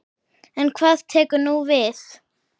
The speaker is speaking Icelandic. En hvað tekur nú við?